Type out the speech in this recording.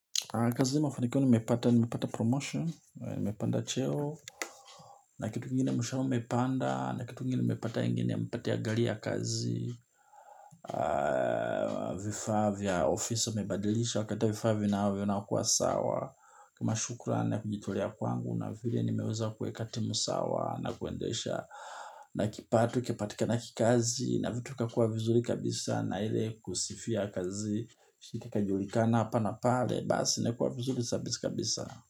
Kazi mafanikio nimepata, nimepanda promotion, nimepanda cheo, na kitu kingine mshahara umepanda, na kitu kingine nimepata wengine nimepatia ya gari ya kazi, vifaa vya, ofisi wamebadilisha, wakaleta vifaa vinakuwa sawa, kama shukrani na kujitolea kwangu, na vile nimeweza kuweka timu sawa, na kuendesha, na kipato, kipatikana kikazi, na vitu kakua vizuri kabisa, na ile kusifia kazi, ikajulikana hapa na pale. Basi imekua vizuri kabisa.